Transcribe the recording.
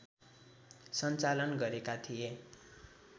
सञ्चालन गरेका थिए